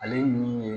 Ale ye min ye